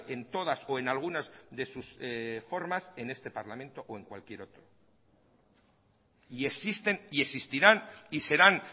en todas o en algunas de sus formas en este parlamento o en cualquier otro y existen y existirán y serán